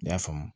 I y'a faamu